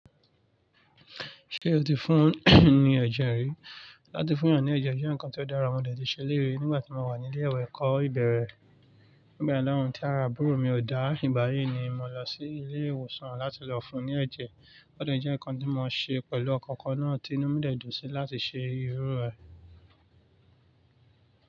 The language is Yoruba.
Ṣé o ti fún ni ẹ̀jẹ̀ rí? Látí fún èeyan ní ẹ̀jẹ̀ jẹ́ nkan tí ó dára, mo dẹ̀ ti ṣe eléyii ri nígbà tí mo wà ní ilé ìwé ẹ̀kọ́ ìbẹ̀rẹ̀. Nígbà náà tí ara àbúrò mi ò dá, ìgbáyìí ni mo lọ sí ilé ìwòsàn láti lọ fún ní ẹ̀jẹ̀. Ó dẹ̀ jẹ́ nkan tí mo ṣe pẹ̀lú ọkan kan náà tí inú mi dẹ̀ dùn sí láti ṣe irú rẹ̀.